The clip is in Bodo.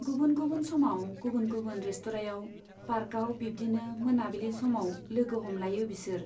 गुबुन गुबुन समाव गुबुन गुबुन रेस्ट'रायाव, पार्कआव बिब्दिनो मोनाबिलि समाव लोगो हमलायो बिसोर।